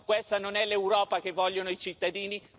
No, questa non è l'Europa che vogliono i cittadini.